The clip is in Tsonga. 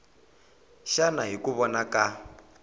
xana hi ku vona ka